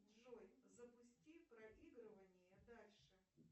джой запусти проигрывание дальше